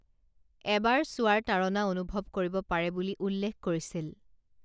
এবাৰ চোৱাৰ তাড়ণা অনুভৱ কৰিব পাৰে বুলি উল্লেখ কৰিছিল